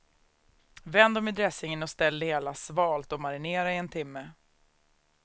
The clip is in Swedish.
Vänd dem i dressingen och ställ det hela svalt att marinera i en timme.